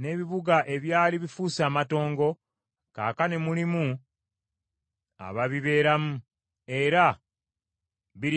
n’ebibuga ebyali bifuuse amatongo, kaakano mulimu ababibeeramu, era biriko ne bbugwe.”